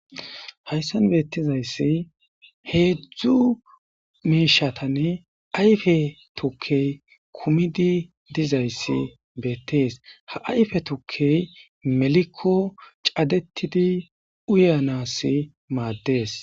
hayssan beettizayssi heedzdzu miishatan ayfe tukke kumidi dizayssi beettees ha ayfe tukke melikko cadetidi uyanassi maaddees